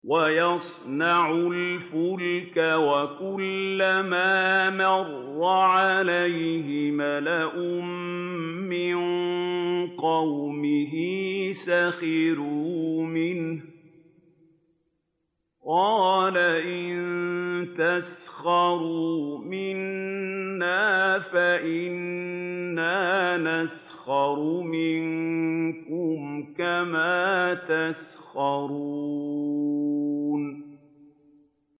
وَيَصْنَعُ الْفُلْكَ وَكُلَّمَا مَرَّ عَلَيْهِ مَلَأٌ مِّن قَوْمِهِ سَخِرُوا مِنْهُ ۚ قَالَ إِن تَسْخَرُوا مِنَّا فَإِنَّا نَسْخَرُ مِنكُمْ كَمَا تَسْخَرُونَ